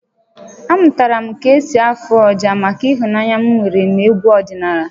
Amụtara m ka m ka-esi afụ ọjà maka ịhụnanya m nwere n'egwu ọdịnala